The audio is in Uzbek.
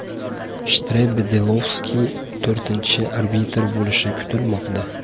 Shtrebe Delovski to‘rtinchi arbitr bo‘lishi kutilmoqda.